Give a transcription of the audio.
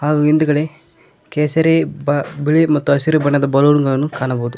ಹಾಗು ಹಿಂದಗಡೆ ಕೇಸರಿ ಬ ಬಿಳಿ ಮತ್ತ ಹಸಿರು ಬಣ್ಣದ ಬಲುನ ಗಳನ್ನು ಕಾಣಬಹುದು.